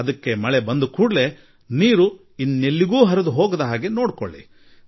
ಆದರೆ ಈಗ ನೀರು ಬಂದಿರುವಾಗ ಅದು ಎಲ್ಲೋ ಹರಿದು ಹೋಗದಂತೆ ನೋಡಿಕೊಳ್ಳಿ